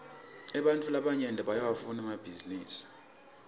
ebantfu labanyenti bayawafuna emabhisinisi